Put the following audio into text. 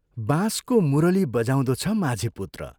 बाँसको मुरली बनाउँदो छ माझी पुत्र।